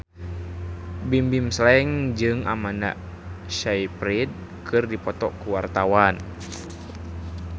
Bimbim Slank jeung Amanda Sayfried keur dipoto ku wartawan